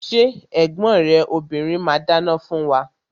Ṣé ẹ̀gbọ́n rẹ obìrin ma dáná fún wa?